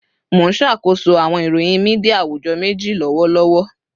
Mo n ṣakoso awọn iroyin media awujọ meji lọwọlọwọ